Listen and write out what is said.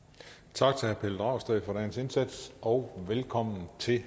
tak til herre pelle dragsted for dagens indsats og velkommen til